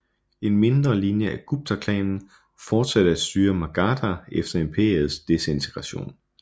En mindre linje af Guptaklanen fortsatte at styre Magadha efter imperiets desintegration